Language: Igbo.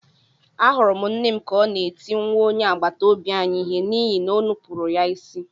Ahụrụ m nne m ka ọ na-eti nwa onye agbataobi anyị ihe n’ihi na o nupụrụ ya isi.